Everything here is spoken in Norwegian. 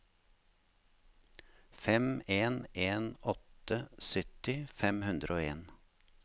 fem en en åtte sytti fem hundre og en